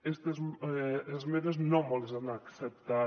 es·tes esmenes no mos les han acceptat